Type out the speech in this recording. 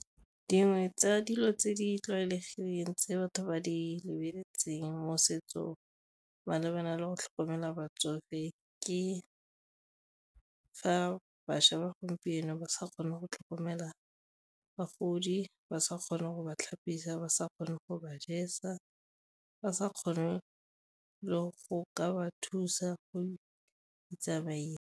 Dingwe tsa dilo tse di tlwaelegileng tse batho ba di lebeletseng mo setsong malebana le go tlhokomela batsofe ke fa bašwa ba gompieno ba sa kgone go tlhokomela bagodi, ba sa kgone go ba tlhapisa, ba sa kgone go ba jesa, ba sa kgone le go ka ba thusa go survive-a.